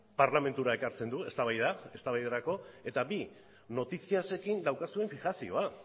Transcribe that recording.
parlamentura ekartzen du eztabaida eta bi noticias ekin daukazuen fijazioa